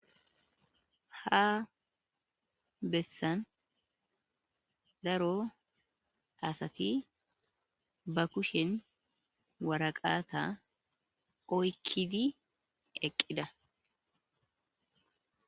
Ha bessan daaro asati ba kushshen waraqata oykkidi eqqida.